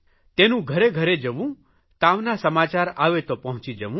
તેનું ઘરેઘરે જવું તાવના સમાચાર આવે તો પહોંચી જવું